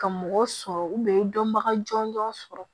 Ka mɔgɔ sɔrɔ dɔnbaga jɔnjɔn sɔrɔ